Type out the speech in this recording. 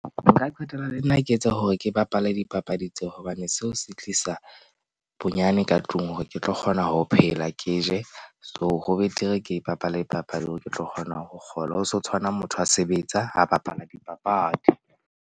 Nka qetella le nna ke etsa hore ke bapale dipapadi tseo, hobane seo se tlisa bonyane ka tlung hore ke tlo kgona ho phela, ke je so ho betere, ke bapale dipapadi hore ke tlo kgona ho kgolwa ho so tshwana, motho a sebetsa ha bapala dipapadi.